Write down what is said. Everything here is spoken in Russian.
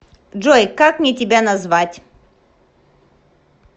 джой как мне тебя назвать